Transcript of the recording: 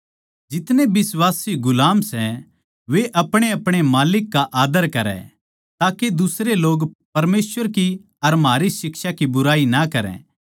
जितने बिश्वासी गुलाम सै वे अपणेअपणे माल्लिक का आदर करै ताके दुसरे लोग परमेसवर की अर म्हारी शिक्षा की बुराई ना करै